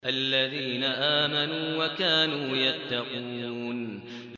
الَّذِينَ آمَنُوا وَكَانُوا يَتَّقُونَ